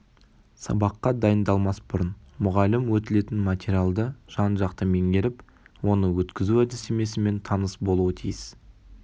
сабаққа дайындалмас бұрын мұғалім өтілетін материалды жан-жақты меңгеріп оны өткізу әдістемесімен таныс болуы тиіс